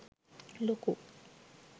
ලොකු